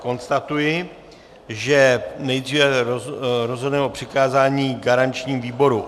Ale konstatuji, že nejdříve rozhodneme o přikázání garančnímu výboru.